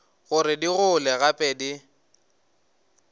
gore di gole gape di